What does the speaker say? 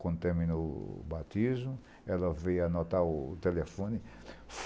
Quando terminou o batismo, ela veio anotar o telefone.